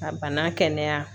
Ka bana kɛnɛya